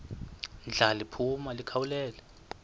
ndla liphuma likhawulele